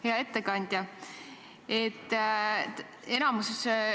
Hea ettekandja!